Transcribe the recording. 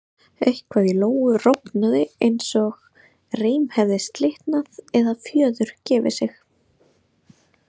Eitthvað í Lóu rofnaði eins og reim hefði slitnað eða fjöður gefið sig.